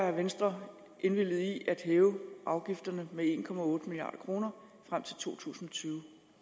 har venstre indvilliget i at hæve afgifterne med en milliard kroner frem til to tusind og tyve